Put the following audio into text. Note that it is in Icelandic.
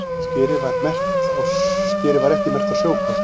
Skerið var ekki merkt á sjókort